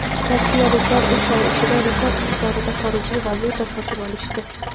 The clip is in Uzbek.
Rossiyaliklar uch oy ichida rekord miqdorda xorijiy valyuta sotib olishdi.